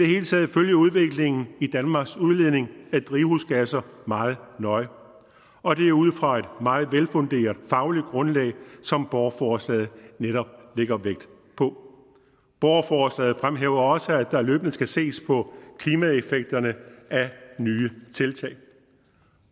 hele taget følge udviklingen i danmarks udledning af drivhusgasser meget nøje og det er ud fra et meget velfunderet fagligt grundlag som borgerforslaget netop lægger vægt på borgerforslaget fremhæver også at der løbende skal ses på klimaeffekterne af nye tiltag